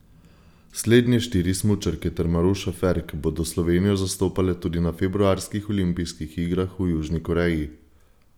Slednje štiri smučarke ter Maruša Ferk bodo Slovenijo zastopale tudi na februarskih olimpijskih igrah v Južni Koreji.